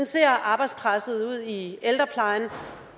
ser arbejdspresset ud i ældreplejen